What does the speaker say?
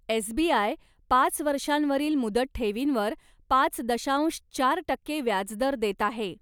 SBI. पाच वर्षांवरील मुदत ठेवींवर पाच दशांश चार टक्के व्याजदर देत आहे.